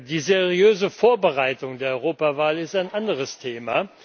Die seriöse Vorbereitung der Europawahl ist ein anderes Thema.